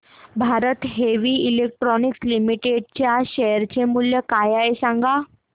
Bharat heavy electricals limited च्या share चे मूल्य काय आहे सांगा